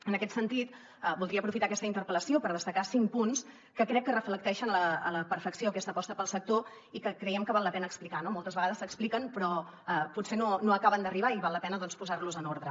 en aquest sentit voldria aprofitar aquesta interpel·lació per destacar cinc punts que crec que reflecteixen a la perfecció aquesta aposta pel sector i que creiem que val la pena explicar no moltes vegades s’expliquen però potser no acaben d’arribar i val la pena doncs posar los en ordre